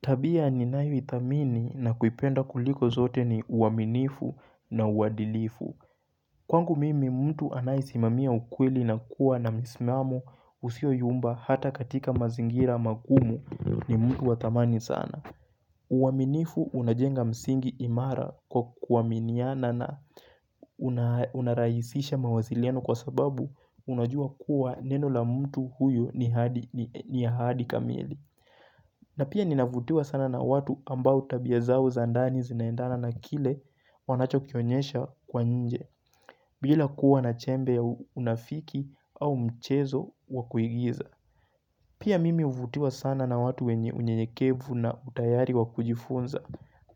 Tabia ninayoithamini na kuipenda kuliko zote ni uaminifu na uwadilifu. Kwangu mimi mtu anaisimamia ukweli na kuwa na msimamu usio yumba hata katika mazingira magumu ni mtu wa thamani sana. Uaminifu unajenga msingi imara kwa kuaminiana na unarahisisha mawasiliano kwa sababu unajua kuwa neno la mtu huyo ni ahadi kamili. Na pia ninavutiwa sana na watu ambao tabia zao za ndani zinaendana na kile wanacho kionyesha kwa nje, bila kuwa na chembe ya unafiki au mchezo wa kuigiza. Pia mimi huvutiwa sana na watu wenye unyenyekevu na utayari wa kujifunza